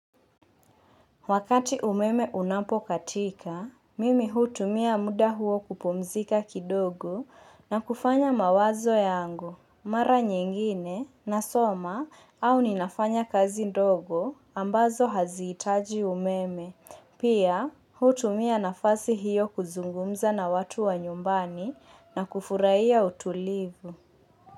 Wakati umeme unapokatika, mimi hutumia muda huo kupumzika kidogo na kufanya mawazo yangu. Mara nyingine nasoma au ninafanya kazi ndogo ambazo hazihitaji umeme. Pia hutumia nafasi hiyo kuzungumza na watu wa nyumbani na kufurahia utulivu.